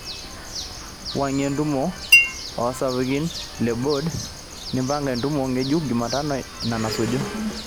wuang'ie entumo e sapukin le bod nipanga entumo ngejuk jumatano ina nasuju